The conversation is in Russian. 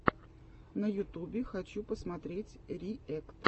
на ютубе хочу посмотреть риэкт